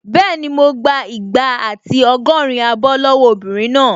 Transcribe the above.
Bẹ́ẹ̀ni, mo gbà igba àti ọgọ́rin abọ́ lọ́wọ́ obìnrin náà